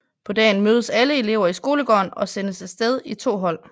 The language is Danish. På dagen mødes alle elever i skolegården og sendes af sted i 2 hold